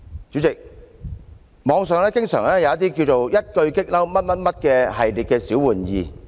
主席，網上有一系列名為"一句'激嬲'"的小玩意。